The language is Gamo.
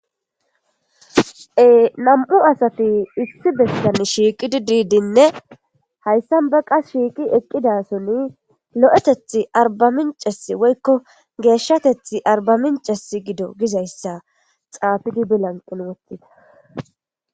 Nam'u asati issi bessan shiiqidi diidinne hayssa baqa shiiqi eqqidason lo7eteth arba minces woykko geeshshateth arba minces gido gizayssa xaafidi bilanqin wottida